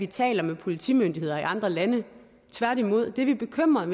taler med politimyndigheder i andre lande tværtimod det vi er bekymrede